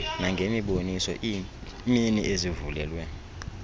nangemiboniso iimini ezivulelwe